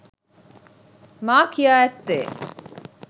මා කියා ඇත්තේ